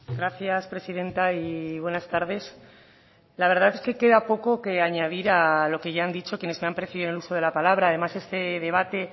gracias presidenta y buenas tardes la verdad es que queda poco que añadir a lo que ya han precedido en el uso de la palabra además este debate